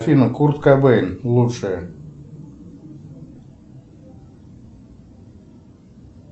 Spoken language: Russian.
афина курт кобейн лучшее